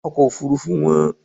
Ọkọ̀ òfuurufú wón.